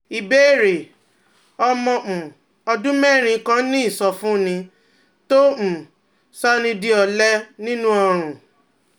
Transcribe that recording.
Ìbéèrè: Ọmọ um ọdún mẹ́rin kan ní ìsọfúnni tó um ń sọni di ọ̀lẹ nínú ọrùn